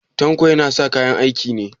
Tanko yana sa kayan aiki ne?